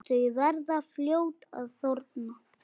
Þau verða fljót að þorna.